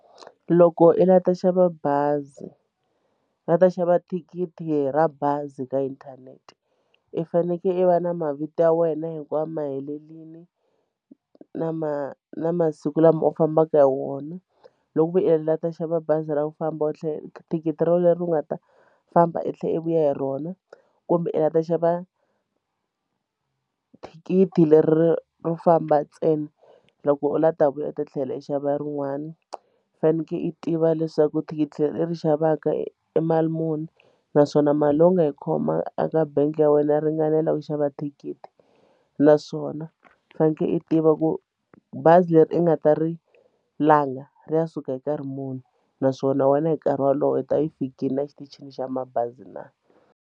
Loko i la ta xava bazi ri va ta xava thikithi ra bazi ka inthanete i fanekele i va na mavito ya wena hinkwayo ma helelile na ma na masiku lama u fambaka hi wona loko i lava ku ta xava bazi ra ku famba u thikithi ra wena leri u nga ta famba i tlhe i vuya hi rona kumbe i la va ta xava thikithi leri ro famba ntsena loko u lava ku ta vuya u ta tlhela u xava rin'wana i faneke i tiva leswaku thikithi leri i xavaka i mali muni naswona mali leyi i nga yi khoma eka bangi ya wena yi ringanela ku xava thikithi naswona u fanekele u tiva ku bazi leri i nga ta ri langa ri ya suka hi nkarhi muni naswona wena hi nkarhi wolowo i ta i fikile a xitichini xa mabazi na.